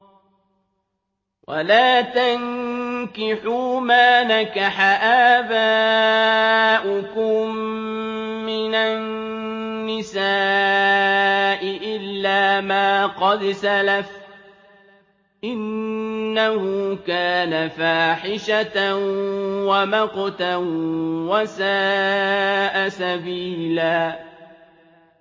وَلَا تَنكِحُوا مَا نَكَحَ آبَاؤُكُم مِّنَ النِّسَاءِ إِلَّا مَا قَدْ سَلَفَ ۚ إِنَّهُ كَانَ فَاحِشَةً وَمَقْتًا وَسَاءَ سَبِيلًا